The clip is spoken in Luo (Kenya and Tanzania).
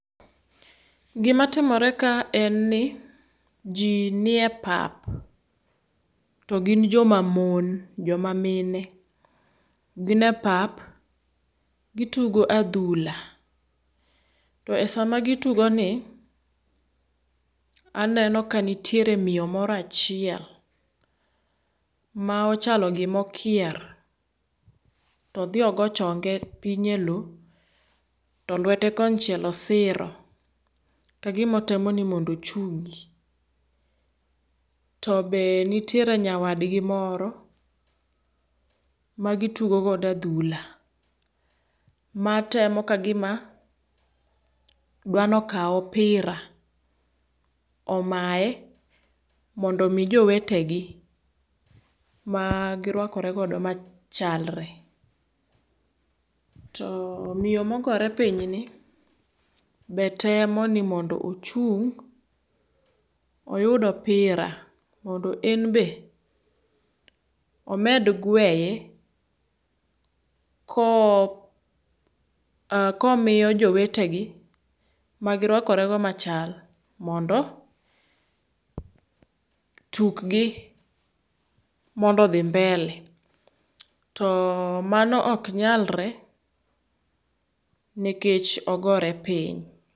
Gima timore ka en ni ji nie epap to gin joma mon joma mine. Gine epap gitugo adhula. To esama gitugoni, aneno ka nitire miyo moro achiel ma ochalo gima okier to odhi ogo chonge piny eloo to lwete konchiel osiro kagima otemoni mondo ochungi. To be nitiere nyawadgi moro magi tugo godo adhula matemo kagima dwani okaw opira omaye mondo omi jowetegi magirwakore godo machalre. To miyo mogore pinyni be temoni ni mondo ochung' oyud opira mondo en be omed gweye koo e komiyo jowetegi magirwakorego machal mondo tukgi mondo odhi mbele to o mano ok nyalre nikech ogore piny.